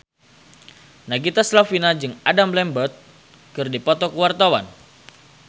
Nagita Slavina jeung Adam Lambert keur dipoto ku wartawan